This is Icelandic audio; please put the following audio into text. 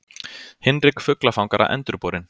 Hinrik fuglafangara endurborinn.